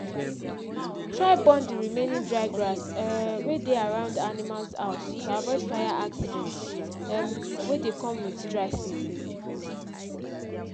try born d remaining dry grass um wey dey around animals house to avoid fire accident um wey dey come with dry season